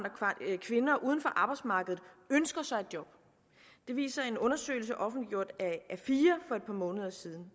at uden for arbejdsmarkedet ønsker sig et job det viser en undersøgelse offentliggjort af a4 for et par måneder siden